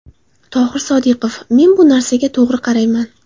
Tohir Sodiqov: Men bu narsaga to‘g‘ri qarayman.